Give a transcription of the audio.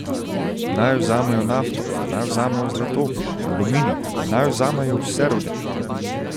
Naj vzamejo nafto, naj vzamejo zlato, aluminij, naj vzamejo vse rude.